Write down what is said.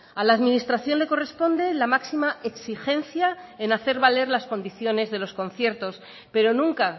a la administración le corresponde la máxima exigencia en hacer valer las condiciones de los conciertos pero nunca